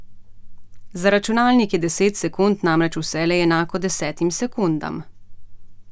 Za računalnik je deset sekund namreč vselej enako desetim sekundam.